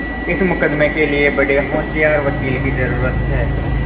इस मुकदमें के लिए बड़े होशियार वकील की जरुरत है